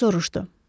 Co soruşdu.